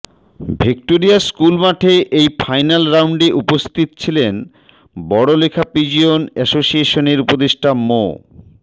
Victoria school মাঠে এই final রাউন্ডে উপস্থিত ছিলেন বড়লেখা পিজিয়ন অ্যাসোসিয়েশনের উপদেষ্টা মো